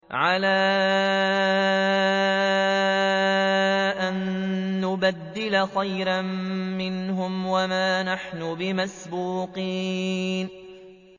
عَلَىٰ أَن نُّبَدِّلَ خَيْرًا مِّنْهُمْ وَمَا نَحْنُ بِمَسْبُوقِينَ